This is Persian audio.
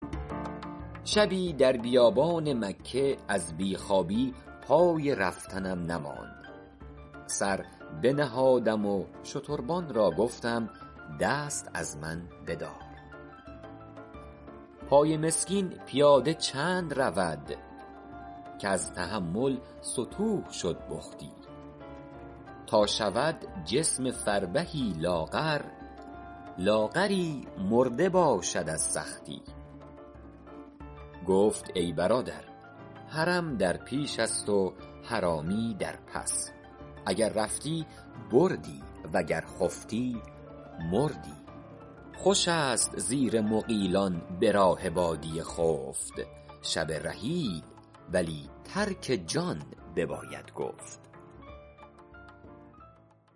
شبی در بیابان مکه از بی خوابی پای رفتنم نماند سر بنهادم و شتربان را گفتم دست از من بدار پای مسکین پیاده چند رود کز تحمل ستوه شد بختی تا شود جسم فربهی لاغر لاغری مرده باشد از سختی گفت ای برادر حرم در پیش است و حرامی در پس اگر رفتی بردی وگر خفتی مردی خوش است زیر مغیلان به راه بادیه خفت شب رحیل ولی ترک جان بباید گفت